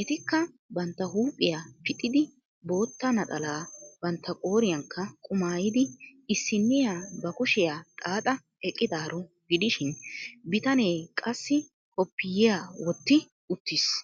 ettikka bantta huuphphiya pixxidi bootta naxalaa bantta qooriyanikka qumaayidi issiniya ba kushiyaa xaaxa eqqidaaro gidishin bitanee qassi koppiyiya wotti uttiis.